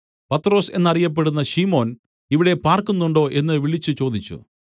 പത്രൊസ് എന്ന് അറിയപ്പെടുന്ന ശിമോൻ ഇവിടെ പാർക്കുന്നുണ്ടോ എന്നു വിളിച്ചുചോദിച്ചു